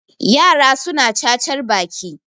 yara suna cacar Baki